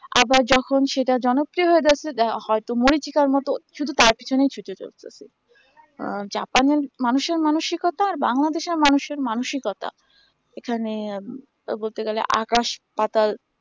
আবার যখন সেটা জনপ্রিয় হয়ে যাইসে যা হয় তো মরিচীকা মতো শুধু তার পিছুনে ছুটে চলতেছি আহ japan এর মানুষ এর মানসিকতা আর বাংলাদেশ এর মানুষ এর মানসিকতা এখানে বলতে গেলে আকাশ পাতাল